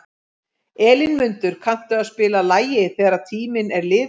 Elínmundur, kanntu að spila lagið „Þegar tíminn er liðinn“?